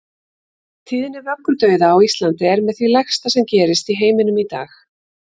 Tíðni vöggudauða á Íslandi er með því lægsta sem gerist í heiminum í dag.